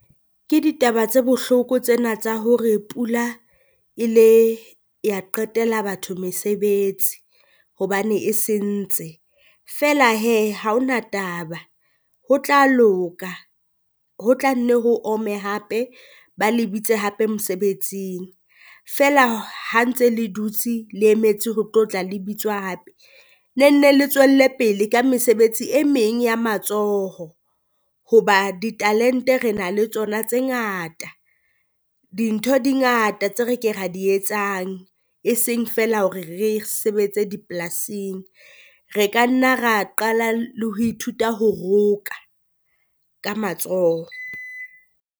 Ke ditaba tse bohloko tsena tsa hore pula e le ya qetela batho mesebetsi hobane e sentse, feela hee ha ho na taba ho tla loka ho tla nne ho ome hape ba le bitse hape mosebetsing. Feela ha ntse le dutse le emetse ho tlo tla le bitswa hape ne nne le tswelle pele ka mesebetsi e meng ya matsoho, hoba ditalente re na le tsona tse ngata. Dintho di ngata tse re ke ra di etsang, eseng feela hore re sebetse dipolasing, re ka nna ra qala le ho ithuta ho roka ka matsoho.